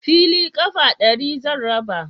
Fili ƙafa ɗari zan raba